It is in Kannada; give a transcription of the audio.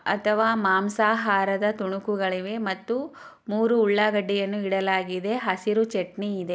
ಅಥವಾ ಮಾಂಸ ಹಾರದ ತುಣುಕುಗಳಿವೆ ಮತ್ತು ಮೂರೂ ಹುಳ್ಳಾಗಡ್ಡಿಯನ್ನು ಇಡಲಾಗಿದೆ ಹಸಿರೂ ಚಟ್ನಿ ಇದೆ.